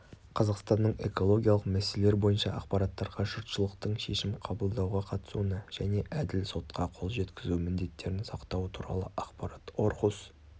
қазақстанның экологиялық мәселелер бойынша ақпараттарға жұртшылықтың шешім қабылдауға қатысуына және әділ сотқа қол жеткізу міндеттерін сақтауы туралы ақпарат орхус